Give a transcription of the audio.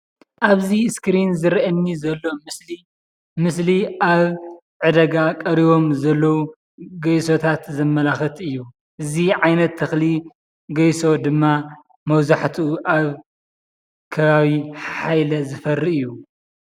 እብዚ እስክሪን ዝረአየኒ ዘሎ ምስሊ ምስሊ አብ ዕዳጋ ቀሪቦም ዘለዉ ገይሶታት ዘመላክት እዩ። እዚ ዓይነት ተክሊ ገይሶ ድማ መብዛሕትኡ አብ ከባቢ ሓሓይለ ዝፈሪ እዩ።